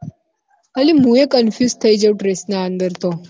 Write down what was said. અલી મુ એ confuse થઇ જવું dress ના અંદર તો